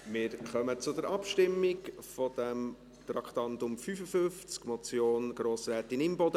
Wir kommen zur Abstimmung zum Traktandum 55, der Motion von Grossrätin Imboden.